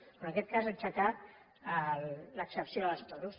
o en aquest cas aixecar l’excepció dels toros